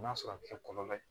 N'a sɔrɔ a bɛ kɛ kɔlɔlɔ ye